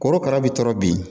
Korokara bɛ tɔɔrɔ bi